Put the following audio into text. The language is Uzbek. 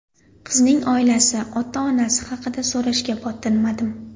Qizning oilasi, ota-onasi haqida so‘rashga botinmadim.